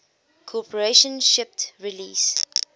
corporation shipped release